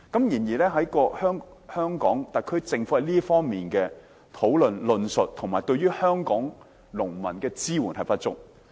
然而，特區政府在這方面的討論、論述及對於香港農民的支援均不足。